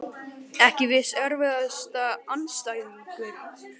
Ekki viss Erfiðasti andstæðingur?